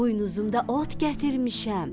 Buynuzumda ot gətirmişəm.